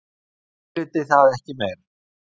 Ég hugleiddi það ekki meir.